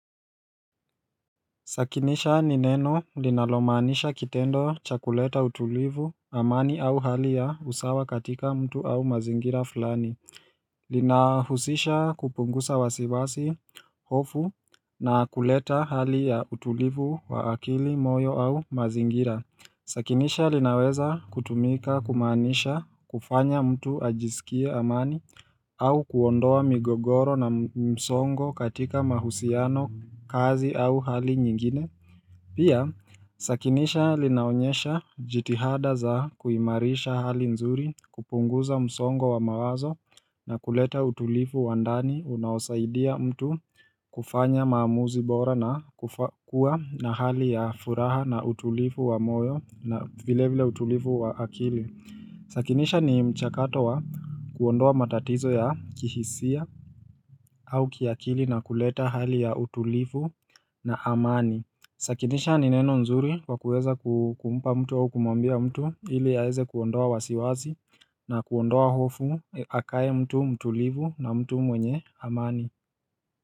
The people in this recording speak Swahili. Sakinisha ni neno linalomanisha kitendo cha kuleta utulivu amani au hali ya usawa katika mtu au mazingira fulani. Linahusisha kupunguza wasiwasi hofu na kuleta hali ya utulivu wa akili moyo au mazingira. Sakinisha linaweza kutumika kumaanisha kufanya mtu ajisikie amani au kuondoa migogoro na msongo katika mahusiano kazi au hali nyingine. Pia sakinisha linaonyesha jitihada za kuimarisha hali nzuri kupunguza msongo wa mawazo na kuleta utulivu wa ndani unaosaidia mtu kufanya maamuzi bora na kufa kua na hali ya furaha na utulivu wa moyo na vile vile utulivu wa akili Sakinisha ni mchakato wa kuondoa matatizo ya kihisia au kiakili na kuleta hali ya utulifu na amani Sakinisha nineno nzuri kwa kuweza kumpa mtu au kumwambia mtu ili aeze kuondoa wasiwazi na kuondoa hofu akae mtu mtulivu na mtu mwenye amani.